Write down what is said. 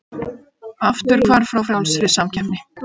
Afturhvarf frá frjálsri samkeppni